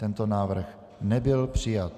Tento návrh nebyl přijat.